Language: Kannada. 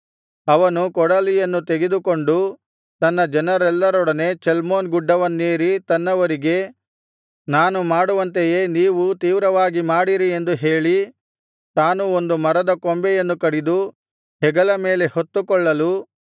ಅವನು ಕೊಡಲಿಯನ್ನು ತೆಗೆದುಕೊಂಡು ತನ್ನ ಜನರೆಲ್ಲರೊಡನೆ ಚಲ್ಮೋನ್ ಗುಡ್ಡವನ್ನೇರಿ ತನ್ನವರಿಗೆ ನಾನು ಮಾಡುವಂತೆಯೇ ನೀವೂ ತೀವ್ರವಾಗಿ ಮಾಡಿರಿ ಎಂದು ಹೇಳಿ ತಾನು ಒಂದು ಮರದ ಕೊಂಬೆಯನ್ನು ಕಡಿದು ಹೆಗಲ ಮೇಲೆ ಹೊತ್ತುಕೊಳ್ಳಲು